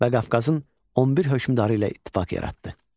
və Qafqazın 11 hökmdarı ilə ittifaq yaratdı.